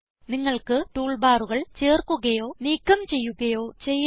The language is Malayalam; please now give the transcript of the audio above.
നിങ്ങൾക്ക് ടൂൾ ബാറുകൾ ചേർക്കുകയോ നീക്കം ചെയ്യുകയോ ചെയ്യാം